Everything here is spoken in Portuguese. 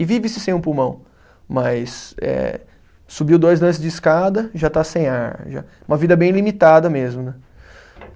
E vive-se sem um pulmão, mas eh subiu dois lances de escada, já está sem ar, uma vida bem limitada mesmo, né?